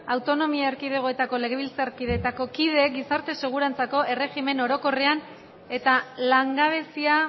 autonomia erkidegoetako legebiltzarretako kideak gizarte segurantzako erregimen orokorrean eta langabezia